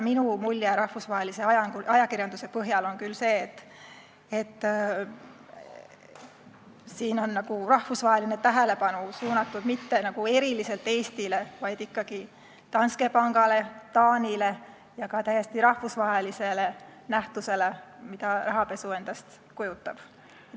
Minu mulje rahvusvahelise ajakirjanduse põhjal on küll see, et rahvusvaheline tähelepanu ei ole suunatud eriliselt Eestile, vaid ikkagi Danske pangale, Taanile ja ka täiesti rahvusvahelisele nähtusele, mida rahapesu endast kujutab.